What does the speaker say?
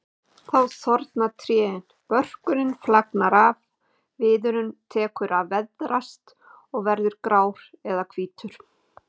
Þá þorna trén, börkurinn flagnar af, viðurinn tekur að veðrast og verður grár eða hvítur.